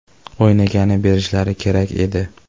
O‘ynagani berishlari kerak edi.